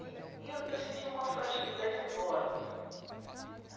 E e eu eu senti uma fragilidade enorme hum.